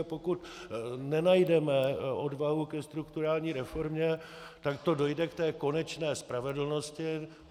A pokud nenajdeme odvahu ke strukturální reformě, tak to dojde k té konečné spravedlnosti.